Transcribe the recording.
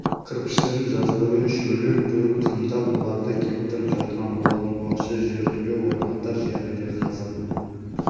кірпіштерін жаз бойы үшеулеп құйып қамдап оларды кептіріп жатқан болатын уақытша жертөле орнатар жерін де қазып